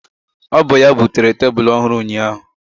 Ọ bụ ya butere tebụl ọhụrụ ụnyaahụ.